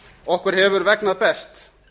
okkur hefur vegnað best